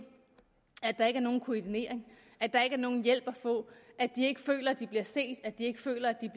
at der ikke er nogen koordinering at der ikke er nogen hjælp at få at de ikke føler at de bliver set og at de ikke føler at de